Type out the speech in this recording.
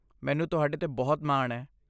ਮੈਨੂੰ ਤੁਹਾਡੇ 'ਤੇ ਬਹੁਤ ਮਾਣ ਹੈ।